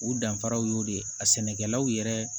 U danfaraw y'o de ye a sɛnɛkɛlaw yɛrɛ